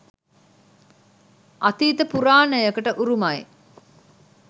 අතීත පුරාණයකට උරුමයි